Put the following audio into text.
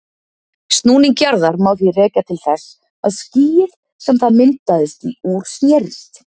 Snúning jarðar má því rekja til þess að skýið sem það myndaðist úr snerist.